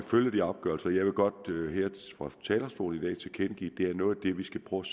følge de afgørelser jeg vil godt her fra talerstolen i dag tilkendegive at det er noget af det vi skal prøve